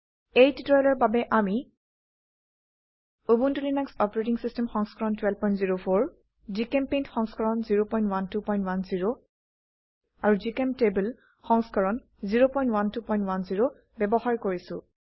এই টিউটোৰিয়েলৰ বাবে আমি উবুন্টু লিনাক্স অচ সংস্কৰণ 1204 জিচেম্পেইণ্ট সংস্কৰণ 01210 আৰু জিচেম্টেবল সংস্কৰণ 01210ব্যবহাৰ কৰিছো